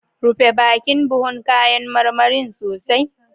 Rufe bakin buhun kayan marmarin sosai.